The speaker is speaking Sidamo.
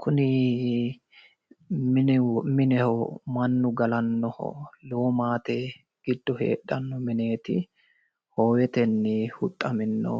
Kunni mineho Manu galanoho lowo maate gido heedhano mineti hoowetenni huxamino